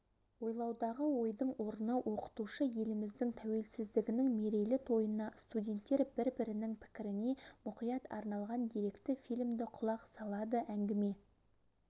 ойлаудағы ойдың орны оқытушы еліміздің тәуелсіздігінің мерейлі тойына студенттер бір-бірінің пікіріне мұқият арналған деректі фильмді құлақ салады әңгіме